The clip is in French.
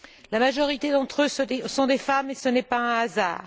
La majorité d'entre eux sont des femmes, et ce n'est pas un hasard.